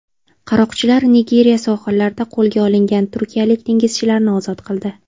Qaroqchilar Nigeriya sohillarida qo‘lga olingan turkiyalik dengizchilarni ozod qildi.